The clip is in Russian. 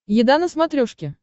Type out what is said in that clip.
еда на смотрешке